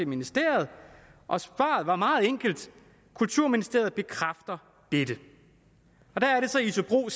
ministeriet og svaret var meget enkelt kulturministeriet bekræftede dette der er det så isobro